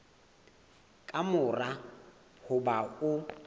ka mora ho ba o